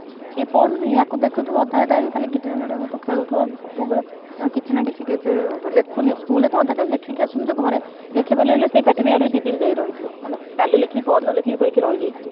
ଇଏ ପଢୁନି ଆକୁ ଦେଖିଥିବୁ ଅଧା time ଗୁଟୁର ମୁଦୁର ଖେଳୁଥିବ ସବୁବେଳେ କଣ କିଛି ନାନ କିଛି ଗେଜେ ଗେଜ ହଉଥିବ school ରେ ତ ଅଧ ଲେଖିକି ଆସୁନଥିବ ଘରେ ।